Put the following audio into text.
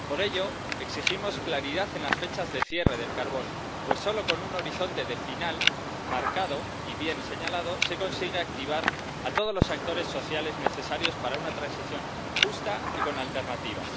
Por ello, exigimos claridad en las fechas de cierre del carbón, pues solo con un horizonte de final marcado y bien señalado se consigue activar a todos los actores sociales necesarios para una transición justa y con alternativas.